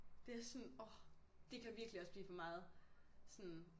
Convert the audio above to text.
Det sådan åh det kan virkelig også blive for meget. Sådan